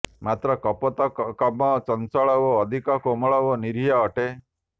ମାତ୍ର କପୋତ କମ ଚଞ୍ଚଳ ଓ ଅଧିକ କୋମଳ ଓ ନିରୀହ ଅଟେ